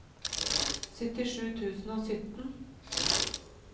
syttisju tusen og sytten